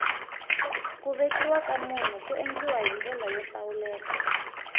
ku vekiwa ka munhu ku endliwa hi ndlela yo hlawuleka